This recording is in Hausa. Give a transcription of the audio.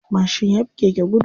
Mashin yafi keke gudu.